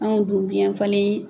Anw dun biɲɛn falen.